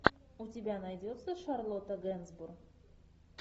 у тебя найдется шарлотта генсбур